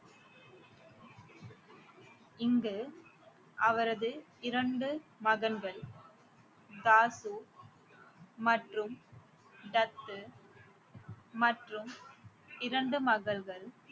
இங்கு அவரது இரண்டு மகன்கள் தாசு மற்றும் டத்து மற்றும் இரண்டு மகள்கள்